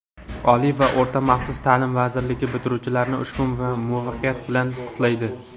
Oliy va o‘rta maxsus ta’lim vazirligi bitiruvchilarni ushbu muvaffaqiyat bilan qutlaydi!.